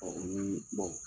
ni